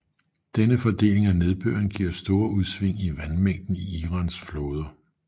Denne fordeling af nedbøren giver store udsving i vandmængden i Irans floder